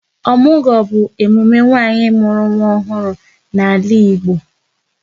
Ọmụgwọ bụ emume nwanyị mụrụ nwa ọhụrụ n'ala Igbo